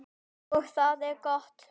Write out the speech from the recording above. Og það er gott.